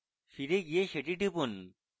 ফিরে গিয়ে let টিপুন